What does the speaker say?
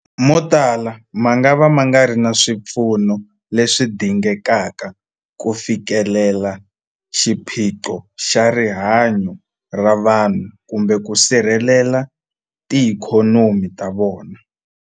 Motala mangava ma nga ri na swipfuno leswi dingekaka ku fikelela xiphiqo xa rihanyu ra vanhu kumbe ku sirhelela tiikhonomi ta vona.